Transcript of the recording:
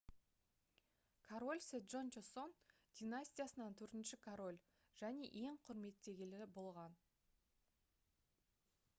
король седжон чосон династиясынан төртінші король және ең құрметтелгені болған